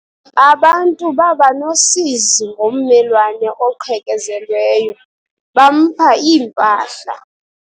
Abantu baba nosizi ngommelwane oqhekezelweyo, bampha iimpahla.